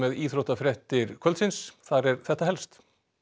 íþróttir kvöldsins þar er þetta helst